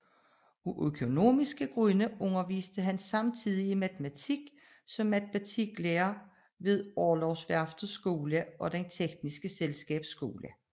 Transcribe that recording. Af økonomiske grunde underviste han samtidigt i matematik som matematiklærer ved Orlogsværftets Skole og Det tekniske Selskabs Skole